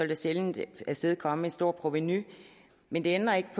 det sjældent afstedkomme et stort provenu men det ændrer ikke